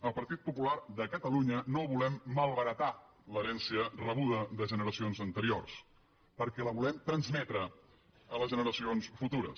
el partit popular de catalunya no volem malbaratar l’herència rebuda de generacions anteriors perquè la volem transmetre a les generacions futures